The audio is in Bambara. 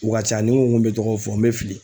U ka ca ni n ko n ko bɛ tɔgɔ fɔ n bɛ fili